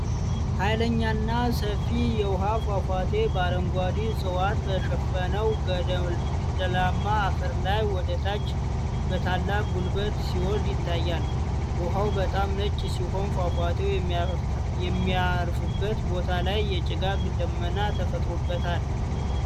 ኃይለኛና ሰፊ የውሃ ፏፏቴ በአረንጓዴ ዕፅዋት በሸፈነው ገደላማ አፈር ላይ ወደታች በታላቅ ጉልበት ሲወርድ ይታያል። ውኃው በጣም ነጭ ሲሆን፣ ፏፏቴው የሚያርፍበት ቦታ ላይ የጭጋግ ደመና ተፈጥሮበታል።